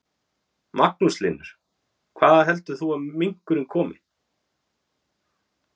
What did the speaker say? Magnús Hlynur: Hvaða heldur þú að minkurinn komi?